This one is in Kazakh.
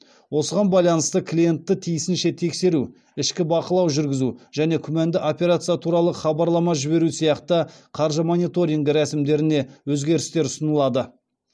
осыған байланысты клиентті тиісінше тексеру ішкі бақылау жүргізу және күмәнді операция туралы хабарлама жіберу сияқты қаржы мониторингі рәсімдеріне өзгерістер ұсынылады